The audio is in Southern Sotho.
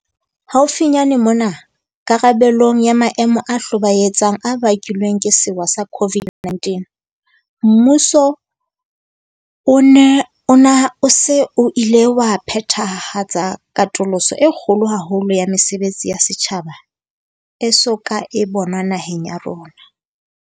Haufinyane mona, karabelong ya maemo a hlobaetsang a bakilweng ke sewa sa COVID-19, mmuso ona o se o ile wa phethahatsa katoloso e kgolo haholo ya mesebetsi ya setjhaba e so ka e bonwa naheng ya rona.